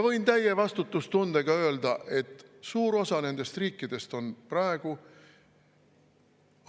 Võin täie vastutustundega öelda, et suur osa nendest riikidest on praegu